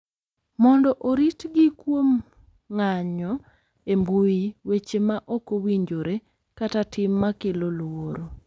Mondo oritgi kuom ng’anjo e mbui, weche ma ok owinjore, kata tim ma kelo luoro,